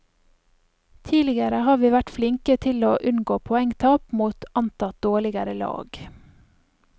Tidligere har vi vært flinke til å unngå poengtap mot antatt dårligere lag.